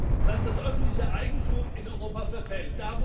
Das heißt, das öffentliche Eigentum in Europa verfällt.